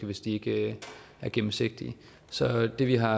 hvis de ikke er gennemsigtige så det vi har